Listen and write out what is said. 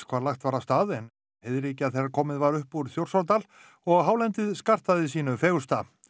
hvar lagt var af stað en heiðríkja þegar komið var upp úr Þjórsárdal og hálendið skartaði sínu fegursta